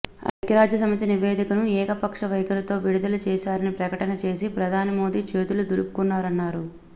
ఐక్యరాజ్యసమితి నివేదికను ఏకపక్ష వైఖరితో విడుదల చేశారని ప్రకటన చేసి ప్రధాని మోదీ చేతులు దులుపుకున్నారన్నారు